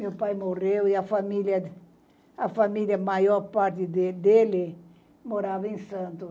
Meu pai morreu e a família a família maior parte dele morava em Santos.